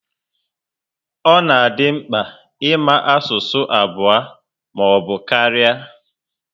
Ọ di mkpa ịma asụsụ abụọ ma ọbụ karịa